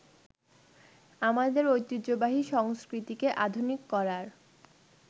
আমাদের ঐতিহ্যবাহী সংস্কৃতিকে আধুনিক করার